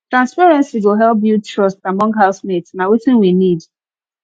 transparency go help build trust among housemates na wetin we need